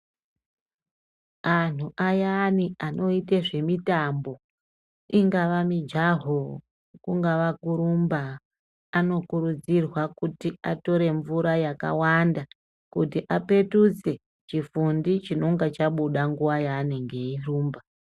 Antu ayani anoite zvemitambo ingava mijaho kungava kurumba, anokurudzirwa kuti atore mvura yakawanda kuti apetudze chifundi chinonga chabuda nguva yaanenge airumba.